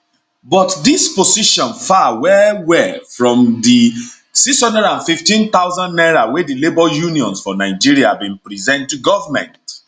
but dis position far well well from di 615000 naira wey di labour unions for for nigeria bin present to goment